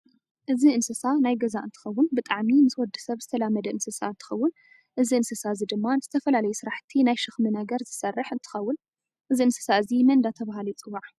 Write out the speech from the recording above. እዚ እንስሳ ናይ ገዛ እንትከውን ብጣዓሚ ምስ ወድሰብ ዝተላመደ እንስሳ እንትከውን እዚ እንስሳ እዚ ድማ ንዝተፈላላዩ ስራሓቲ ናይ ሸክሚ ነገር ዝሰርሕ እንተከውን እዚ እንስሳ እዚ መን እዳተበሃለ ይፅዋ?